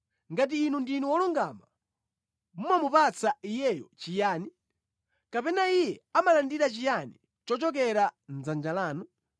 Ngati inu ndinu wolungama, mumamupatsa Iyeyo chiyani? Kapena Iye amalandira chiyani chochokera mʼdzanja lanu?